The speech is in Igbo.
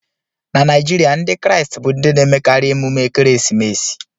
Na Naijiria, Ndị Kraịst bu ndị na-emekarị emume ekeresimesi